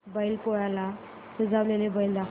बैल पोळ्याला सजवलेला बैल दाखव